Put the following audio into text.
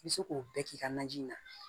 I bɛ se k'o bɛɛ k'i ka naji na